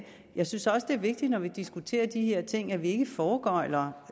jeg synes også at det er vigtigt når vi diskuterer de her ting at vi ikke foregøgler